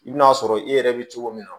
I bɛn'a sɔrɔ i yɛrɛ bɛ cogo min na